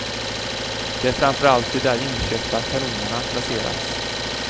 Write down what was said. Det är framför allt där de inköpta kanonerna placerats.